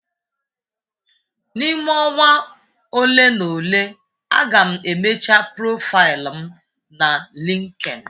N'ime ọnwa ole na ole, a ga m emecha profaịlụ m na LinkedIn.